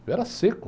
Eu era seco.